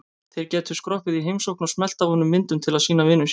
Þeir gætu skroppið í heimsókn og smellt af honum myndum til að sýna vinum sínum.